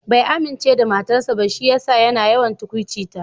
Bai amince da matarsa ba shi yasa yana yawan tukwuci ta.